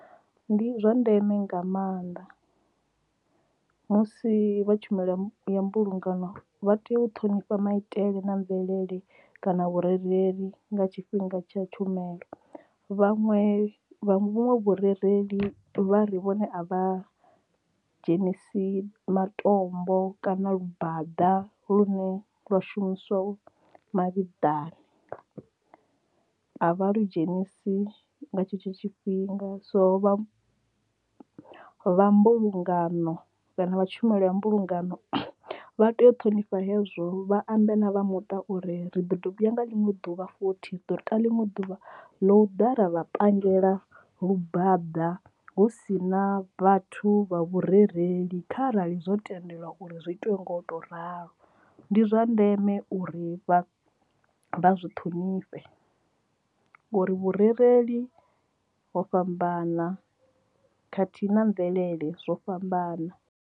Ndi zwa ndeme nga maanḓa musi vha tshumelo ya mbulungano vha tea u ṱhonifha maitele na mvelele kana vhurereli nga tshifhinga tsha tshumelo vhaṅwe vha vhuṅwe vhurereli vha ri vhone a vha dzhenisi matombo kana lu bada lune lwa shumiswa mavhiḓani. A vha lu dzhenisi nga tshetsho tshifhinga so vha vha mbulungano kana vha tshumelo ya mbulungano vha tea u ṱhonifhana hezwo uri vha ambe na vha muṱa uri ri ḓo dovha ya nga ḽiṅwe ḓuvha futhi ḓo tou ḽiṅwe ḓuvha ḽo ḓala vha pandela lu bada hu si na vhathu vha vhurereli kha arali zwo tendelwa uri zwi itiwe ngo to ralo ndi zwa ndeme uri vha zwi ṱhonifhe ngori vhurereli ho fhambana khathihi na mvelele zwo fhambana.